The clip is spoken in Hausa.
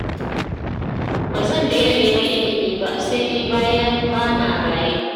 Ba zan daina neman ilimi ba, sai dai bayan ba na raye.